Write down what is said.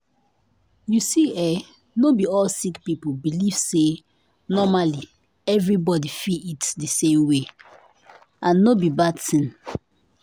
you see eh not be be all sick people believe say normally everybody fit eat di same way and no be bad tin.